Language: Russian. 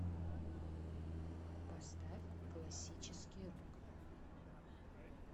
поставь классический рок